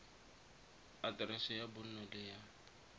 aterese ya bonno le ya